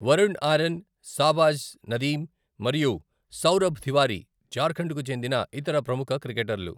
Varun Aaron, Shahbaz Nadeem, మరియు సౌరభ్ తివారీ జార్ఖండ్కు చెందిన ఇతర ప్రముఖ క్రికెటర్లు.